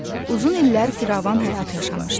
Uzun illər firavan həyat yaşamışdı.